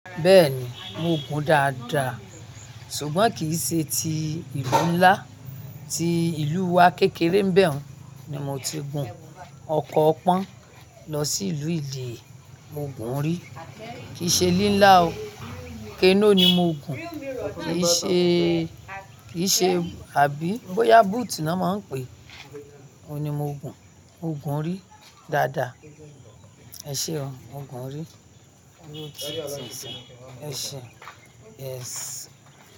Bẹ́ẹ̀ni, mo gun dáadáa ṣùgbọ́n kì í ṣe ti ìlú ńlá, ti ìlú wa kékeré mbẹ̀ún ni mo ti gun. Ọkọ̀ ọpọ́n lọ sí ìlú ìlẹ́ mo gun rí, kì í ṣe lílá o, kenóò ni mo gun, kì í ṣe, kì í ṣe àbí bóyá boot ni wọ́n máa ń pè é, òun ni mo gun. Mo gun rí dáadáa. Ẹ ṣe o, mo gun rí. Ẹ ṣe, ẹ ṣe. Yes.